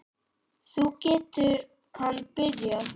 Nú getur hann byrjað.